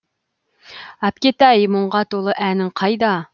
әпкетай мұңға толы әнің қайда